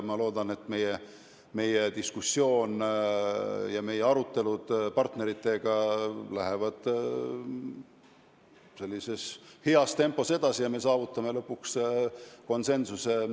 Ma loodan, et arutelud partneritega lähevad heas tempos edasi ja me saavutame lõpuks kandidaadi asjus konsensuse.